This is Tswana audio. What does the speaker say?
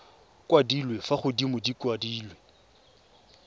kwadilwe fa godimo di kwadilwe